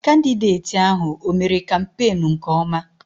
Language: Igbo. Kandideti ahụ, ọ mère kampenu nke ọma?